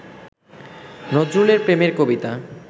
নজরুলের প্রেমের কবিতা